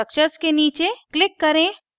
structures के नीचे click करें